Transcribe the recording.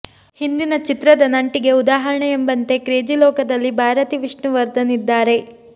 ಹಿಂದಿನ ಚಿತ್ರದ ನಂಟಿಗೆ ಉದಾಹರಣೆ ಎಂಬಂತೆ ಕ್ರೇಜಿಲೋಕದಲ್ಲಿ ಬಾರತಿ ವಿಷ್ಣುವರ್ದನ್ ಇದ್ದಾರೆ